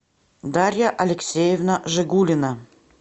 дарья алексеевна жигулина